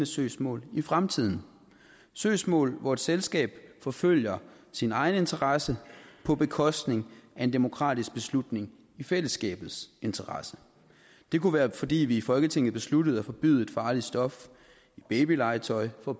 søgsmål i fremtiden søgsmål hvor et selskab forfølger sin egen interesse på bekostning af en demokratisk beslutning i fællesskabets interesse det kunne være fordi vi i folketinget besluttede at forbyde et farligt stof i babylegetøj for